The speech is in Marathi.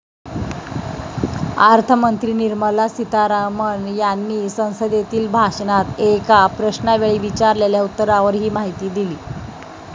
अर्थमंत्री निर्मला सितारमण यांनी संसदेतील भाषणात एका प्रश्नावेळी विचारलेल्या उत्तरावर ही माहिती दिली.